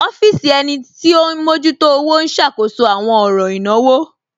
Ọfisi ènì tí o n mọjútò ọwọ̀ n ṣákóṣọ̀ awọn ọ̀ràn ìnáwò.